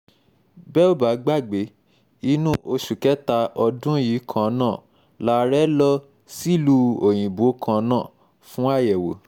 bẹ́ ò bá gbàgbé inú oṣù kẹta ọdún yìí kan náà làárẹ̀ lọ sílùú òyìnbó kan náà fún àyẹ̀wò